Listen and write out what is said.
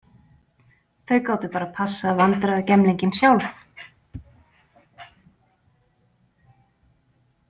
Þau gátu bara passað vandræðagemlinginn sjálf.